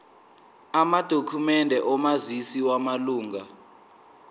amadokhumende omazisi wamalunga